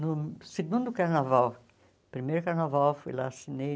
No segundo carnaval, primeiro carnaval, fui lá, assinei.